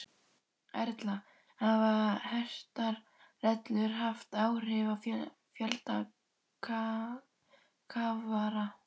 Erla, hafa hertar reglur haft áhrif á fjölda kafara?